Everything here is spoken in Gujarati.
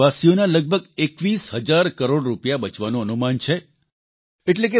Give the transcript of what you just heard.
તેનાથી દેશવાસીઓના લગભગ 21 હજાર કરોડ રૂપિયા બચવાનું અનુમાન છે